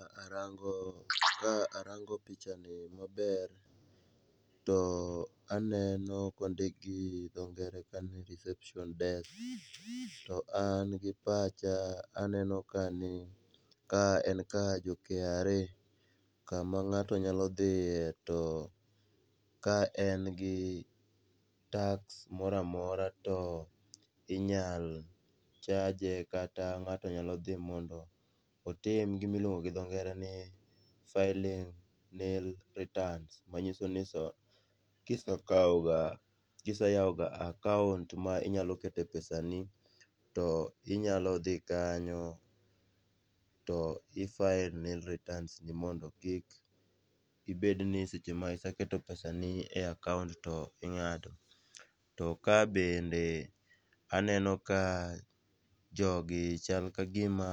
Ka arango pichani maber to aneno kondik gi dhongere ni reception desk, to an gi pacha aneno ka ni ka en kar jo KRA kama ng'ato nyalo dhiye to, ka en gi tax mora mora to inyalo chaje, kata ng'ato nyalo dhi mondo otim gimiluongo gi dho ngere ni filling nill returns manyiso ni kiseyawoga akaont ma inyalo kete pesani, to inyalo dhi kanyo, to i file nill returns, ni mondo kik ibedni seche ma iseketo pesani e akaont to ing'ado, to ka bende aneno ka jogi chal ka gima